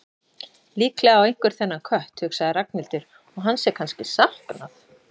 Líklega á einhver þennan kött, hugsaði Ragnhildur, og hans er kannski saknað.